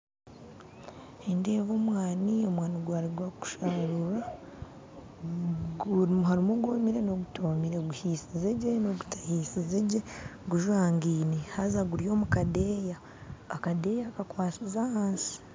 Nindeeba omwani ogwaruga kusharurwa, ogwomire n'ogutomire oguhisize gye nogutahisize gye gujwagaine haza guri omu kadeeya, akadeeya kakwasize ahansi